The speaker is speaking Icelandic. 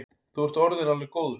Þú ert orðinn alveg góður.